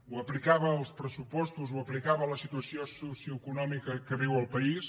ho aplicava als pressupostos ho aplicava a la situació socioeconòmica que viu el país